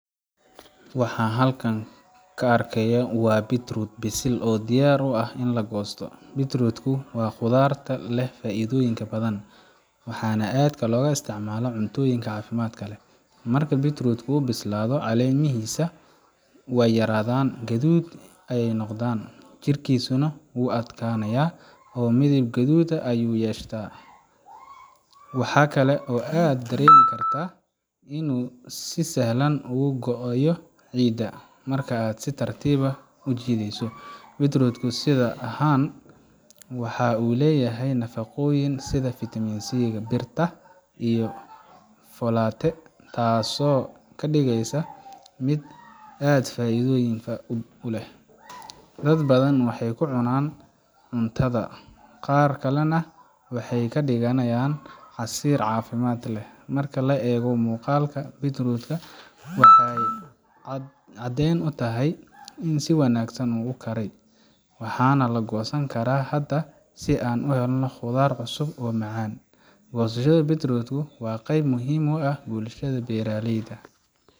Waxa aan halkan ka arkay waa beetroot bisil oo diyaar u ah in la goosto. beetroot waa khudrad leh faa’iidooyin badan, waxaana aad looga isticmaalaa cuntooyinka caafimaadka leh. Marka beetroot ku bislaado, caleemihiisa way yaraadan gaduudan yihiin, jirkiisuna wuu adkaanayaa oo midab guduudan ayuu yeeshtaa. Waxa kale oo aad dareemi kartaa inuu si sahal ah uga go’ayo ciidda marka aad si tartiib ah u jiiddo. beetroot sidan ah waxa uu leeyahay nafaqooyin sida [c]svitamin c, bir, iyo folate, taasoo ka dhigaysa mid aad u faa’iidoyin u leh. Dad badan waxay ku cunaan cuntada, qaar kalena waxay ka dhigaan casiir caafimaad leh. Marka la eego muuqaalka beetroot ka, waxaa cadeyn utahay in si wanaagsan u koray, waxaana la goosan karaa hadda si aan u helo khudrad cusub oo macaan. Goosashada beedrootku waa qayb muhiim ah oo bulshada beeralayda.